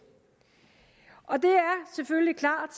og det er selvfølgelig klart